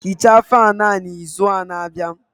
Hichaa fáan a n'izu na-abịa